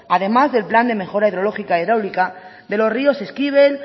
además del plan de mejora hidrológica e hidráulica de los ríos eskibel